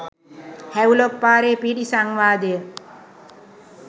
Havelock පාරේ පිහිටි සංවාදය